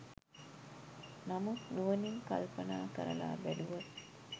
නමුත් නුවණින් කල්පනා කරලා බැලුවොත්